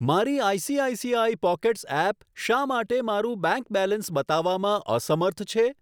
મારી ICICI pockets app શા માટે મારું બેંક બેલેન્સ બતાવવામાં અસમર્થ છે?